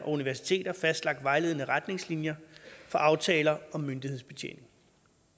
universiteter fastlagt vejledende retningslinjer for aftaler om myndighedsbetjening